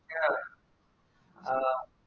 ഞ്യാ ആ